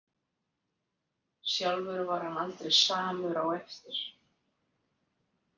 Sjálfur var hann aldrei samur á eftir.